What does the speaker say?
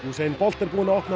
er búinn að opna